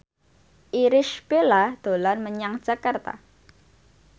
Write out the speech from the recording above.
Irish Bella dolan menyang Jakarta